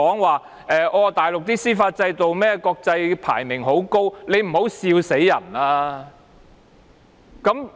還說大陸的司法制度的國際排名十分高，請不要笑壞人。